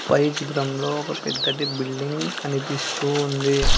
పై చిద్రంలో ఒక పెద్దటి బిల్డింగ్ కనిపిస్తూ ఉంది.